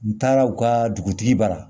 N taara u ka dugutigi ba